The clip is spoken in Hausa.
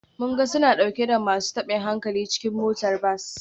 Mun ga suna dauke da masu tabin hankali cikin motar bas.